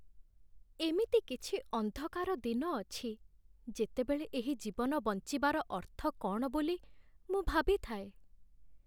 ଏମିତି କିଛି ଅନ୍ଧକାର ଦିନ ଅଛି ଯେତେବେଳେ ଏହି ଜୀବନ ବଞ୍ଚିବାର ଅର୍ଥ କ'ଣ ବୋଲି ମୁଁ ଭାବିଥାଏ।